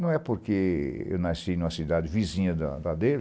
Não é porque eu nasci numa cidade vizinha da da dele.